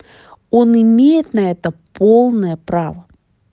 он имеет на это полное право